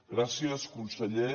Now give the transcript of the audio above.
gràcies conseller